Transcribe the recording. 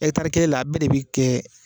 kelen na a bɛɛ de bɛ kɛ.